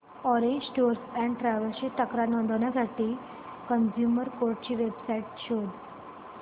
orange tours and travels ची तक्रार नोंदवण्यासाठी कंझ्युमर कोर्ट ची वेब साइट शोध